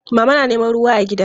Mama na neman ruwa a gida.